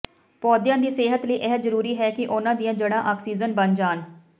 ਪੌਦਿਆਂ ਦੀ ਸਿਹਤ ਲਈ ਇਹ ਜ਼ਰੂਰੀ ਹੈ ਕਿ ਉਨ੍ਹਾਂ ਦੀਆਂ ਜੜ੍ਹਾਂ ਆਕਸੀਜਨ ਬਣ ਜਾਣ